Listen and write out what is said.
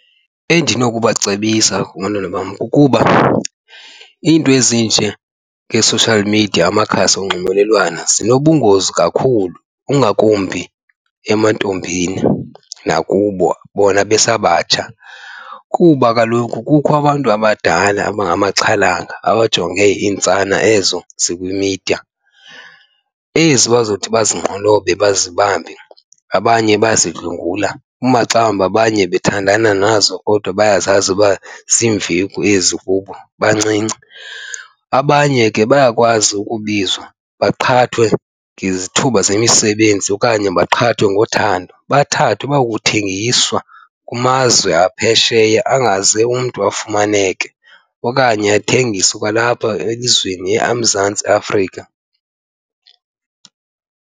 Endinokubacebisa abantwana bam kukuba iinto ezinjengee-social media, amakhasi onxibelelwano, zinobungozi kakhulu ingakumbi emantombini nakubo bona besabatsha. Kuba kaloku kukho abantu abadala abangamaxhalanga abajonge iintsana ezo zikwimidiya, ezi bazothi bazinqolobe bazibambe, abanye bayazidlwengula. Umaxa wambe abanye bathandana nazo kodwa bayazazi uba ziimveki ezi kubo bancinci. Abanye ke bayakwazi ukubizwa baqhathwe ngezithuba zemisebenzi okanye baqhathwe ngothando, bathathwe bayokuthengiswa kumazwe aphesheya angaze umntu afumaneke okanye athengiswe kwalapha elizweni eMzantsi Afrika.